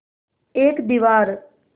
एक दीवार